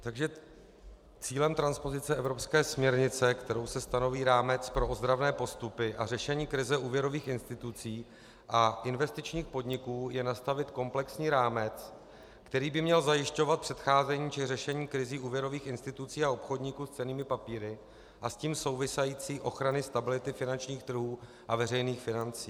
Takže cílem transpozice evropské směrnice, kterou se stanoví rámec pro ozdravné postupy a řešení krize úvěrových institucí a investičních podniků, je nastavit komplexní rámec, který by měl zajišťovat předcházení či řešení krizí úvěrových institucí a obchodníků s cennými papíry a s tím související ochrany stability finančních trhů a veřejných financí.